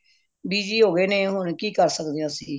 busy ਹੋ ਗਏ ਨੇ ਕਿ ਕਰ ਸਕਦੇ ਆ ਅੱਸੀ